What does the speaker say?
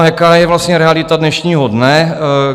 A jaká je vlastně realita dnešního dne?